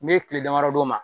N'i ye tile damadɔ d'o ma